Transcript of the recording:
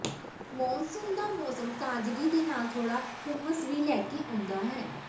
monsoon ਦਾ ਮੌਸਮ ਤਾਜ਼ਗੀ ਦੇ ਨਾਲ ਥੋੜ੍ਹਾ ਹੁਮਸ ਵੀ ਲੈ ਕੇ ਆਉਂਦਾ ਹੈ